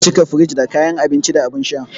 An cika firij da kayan abinci da abin sha.